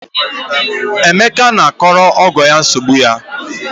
Emeka na-akọrọ ọgọ ya nsogbu ya.